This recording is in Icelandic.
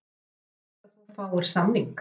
Telur þú líklegt að þú fáir samning?